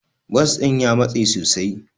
Bas din ya matse sosai.